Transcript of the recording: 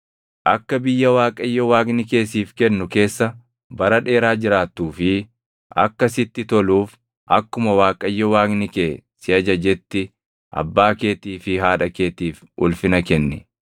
Akka biyya Waaqayyo Waaqni kee siif kennu keessa bara dheeraa jiraattuu fi akka sitti toluuf akkuma Waaqayyo Waaqni kee si ajajetti abbaa keetii fi haadha keetiif ulfina kenni.